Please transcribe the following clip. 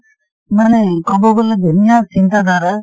মানে কব গলে ধুনীয়া চিন্তাধাৰা ।